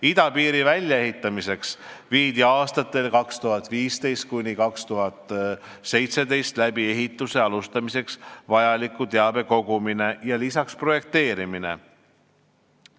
Idapiiri väljaehitamiseks viidi aastatel 2015–2017 läbi ehituse alustamiseks vajaliku teabe kogumine ja lisaks projekteerimine.